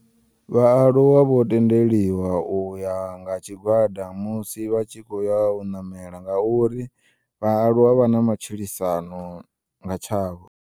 Vhaaluwa vho tendeliwa uya nga tshigwada musi vha tshi kho uya u ṋamela ngauri vhaaluwa vhana matshilisano ngatshavho.